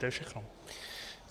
To je všechno.